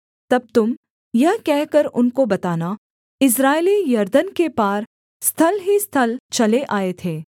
तब तुम यह कहकर उनको बताना इस्राएली यरदन के पार स्थल ही स्थल चले आए थे